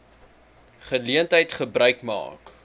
geleentheid gebruik maak